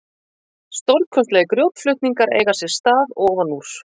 Stórkostlegir grjótflutningar eiga sér stað ofan úr